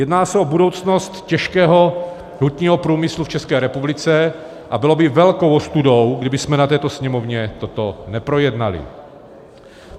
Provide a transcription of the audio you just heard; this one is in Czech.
Jedná se o budoucnost těžkého hutního průmyslu v České republice a bylo by velkou ostudou, kdybychom na této Sněmovně toto neprojednali.